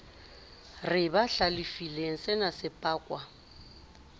re ba hlalefile senase pakwa